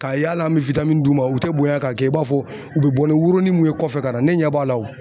Ka y'ala an bɛ d'u ma u tɛ bonya k'a kɛ i b'a fɔ u bɛ bɔ ni woronin mun ye kɔfɛ ka na ne ɲɛ b'a la wo.